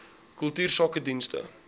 kultuursakedienste